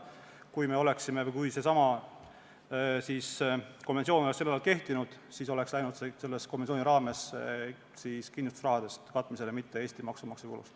Kui see konventsioon oleks sel ajal kehtinud, siis oleks see kaetud kindlustusrahaga, mitte Eesti maksumaksja rahaga.